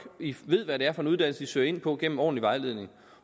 ved hvad det er for en uddannelse de søger ind på gennem ordentlig vejledning